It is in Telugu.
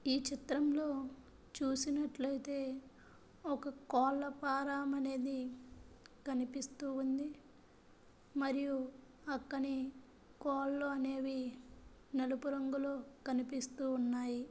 ఈ చిత్రంలో చూసినట్లయితే ఒక కోళ్ల ఫారం అనేది కనిపిస్తూ ఉంది. మరియు పక్కనే కోళ్లు అనేవి నలుపు రంగులో కనిపిస్తూ ఉన్నాయి.